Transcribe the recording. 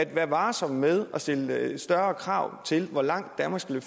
være varsom med at stille større krav til hvor langt danmark skal